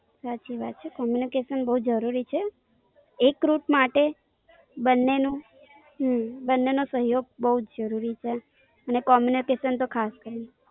સાચી વાત છે. Communication બોવ જરૂરી છે. એક Rut માટે, બન્ને ને હમમમ. બન્ને નો સહયોગ બોવ જરૂરી છે. ને Communication તો ખાસ કરીને.